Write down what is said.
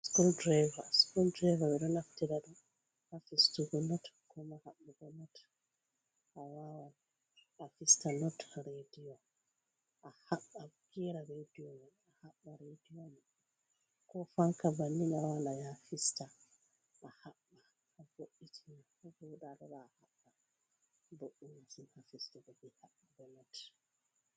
Screw Driver, ɓe ɗo naftira ɗum haa fistugo not ko maa haɓɓugo not a wawan a fista not reediyo a haɓɓa gera reediyo man a haɓɓa rediyo, koo fanka bannin a waawan afista a haɓɓa a bo’itina vooɗa a lora a haɓɓa, boɗɗum masin haa fistugo bee haɓɓugo not